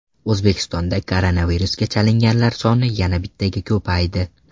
O‘zbekistonda koronavirusga chalinganlar soni yana bittaga ko‘paydi.